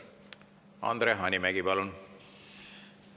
Andre Hanimägi, palun!